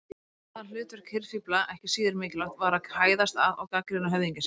Annað hlutverk hirðfífla, ekki síður mikilvægt, var að hæðast að og gagnrýna höfðingja sína.